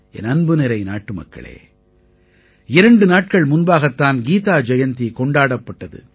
என் அன்புநிறை நாட்டுமக்களே இரண்டு நாட்கள் முன்பாகத் தான் கீதா ஜெயந்தி கொண்டாடப்பட்டது